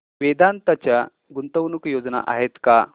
वेदांत च्या गुंतवणूक योजना आहेत का